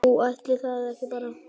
Jú, ætli það ekki bara!